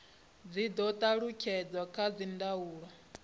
dzi do talutshedzwa kha dzindaulo